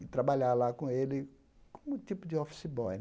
e trabalhar lá com ele como tipo de office boy.